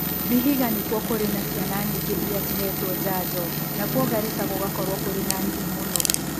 Vihiga nĩkuo kũrĩ na ciana nyingĩ iria cihetwo njanjo nakuo Garissa gũgakorũo kũrĩ na nini mũno